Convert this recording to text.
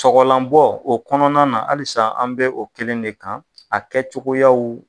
Sɔgɔlanbɔ o kɔnɔna na halisa an bɛ o kelen de kan a kɛcogoyaw